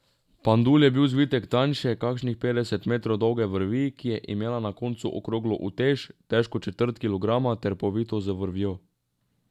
Pandul je bil zvitek tanjše, kakšnih petdeset metrov dolge vrvi, ki je imela na koncu okroglo utež, težko četrt kilograma ter povito z vrvjo.